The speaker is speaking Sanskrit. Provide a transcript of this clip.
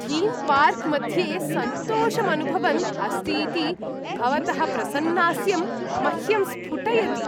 थीम् पार्क् मध्ये सन्तोषम् अनुभवन् अस्ति इति भवतः प्रसन्नास्यं मह्यं स्फुटयति।